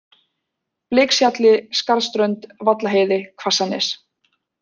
Bleikshjalli, Skarðsströnd, Vallaheiði, Hvassanes